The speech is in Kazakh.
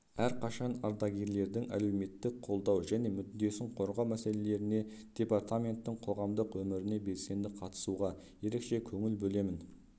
әрқашан ардагерлердің әлеуметтік қолдау және мүддесін қорғау мәселелеріне департаменттің қоғамдық өміріне белсенді қатысуға ерекше көңіл бөлемін